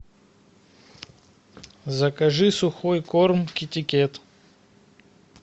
закажи сухой корм китикет